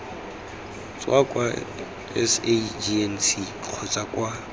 tswa kwa sagnc kgotsa kwa